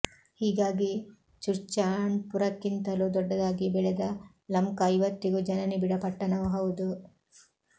ಹೀಗಾಗಿ ಚುರ್ಚಾಂಡ್ಪುರಕ್ಕಿಂತಲೂ ದೊಡ್ಡದಾಗಿ ಬೆಳೆದ ಲಮ್ಖಾ ಇವತ್ತಿಗೂ ಜನನಿಬಿಡ ಪಟ್ಟಣವೂ ಹೌದು